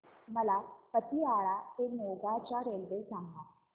मला पतियाळा ते मोगा च्या रेल्वे सांगा